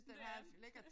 Men det er den ja